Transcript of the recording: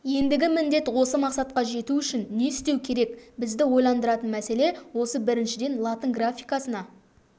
ендігі міндет осы мақсатқа жету үшін не істеу керек бізді ойландыратын мәселе осы біріншіден латын графикасына